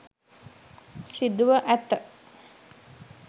සිදුව ඇත.